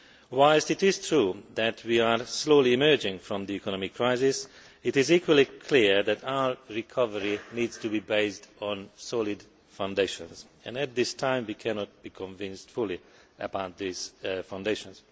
Whilst it is true that we are slowly emerging from the economic crisis, it is equally clear that our recovery needs to be based on solid foundations, and at this time, we cannot be entirely sure about these foundations.